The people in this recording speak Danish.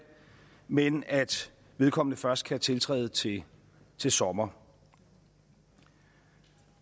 men at vedkommende først skal tiltræde til til sommer